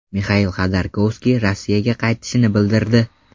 Mixail Xodorkovskiy Rossiyaga qaytishini bildirdi.